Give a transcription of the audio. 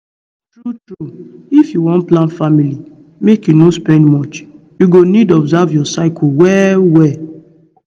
true true if you wan plan family make you no sped much you go need observe your cycle well well